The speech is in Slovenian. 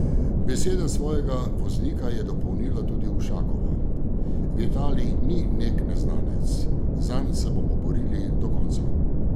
Besede svojega voznika je dopolnila tudi Ušakova: "Vitalij ni nek neznanec, zanj se bomo borili do konca.